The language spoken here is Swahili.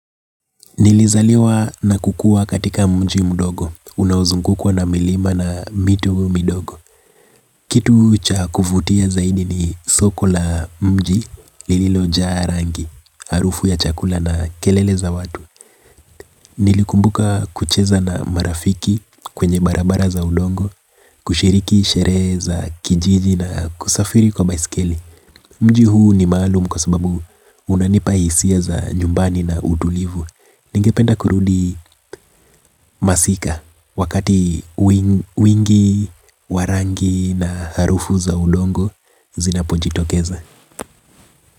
Nilizaliwa na kukua katika mji mdogo. Unaozungukua na milima na mito midogo. Kitu cha kuvutia zaidi ni soko la mji lililo jaa rangi, harufu ya chakula na kelele za watu. Nilikumbuka kucheza na marafiki kwenye barabara za udongo, kushiriki sherehe za kijiji na kusafiri kwa baisikeli. Mji huu ni maalumu kwa sababu unanipa hisia za nyumbani na udulivu. Ningependa kurudi masika wakati wingi, wa rangi na harufu za udongo zinapo jitokeza.